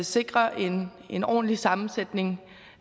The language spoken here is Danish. sikre en en ordentlig sammensætning